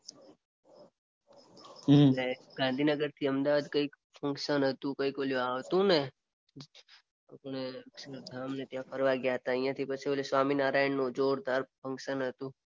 ને ગાંધીનગરથી અમદાવાદ કઈક ફંકશન હતુંને. અહિયાંથી પછી ઓલી સ્વામિનારાયણ નું જોરદાર ફંકશન હતું.